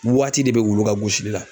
Waati de bɛ wulu ka gosili la.